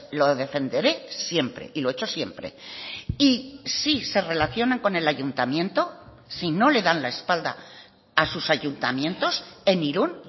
lo defenderé siempre y lo he hecho siempre y si se relacionan con el ayuntamiento si no le dan la espalda a sus ayuntamientos en irún